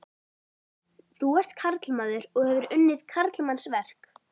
Þú ert karlmaður og hefur unnið karlmannsverk.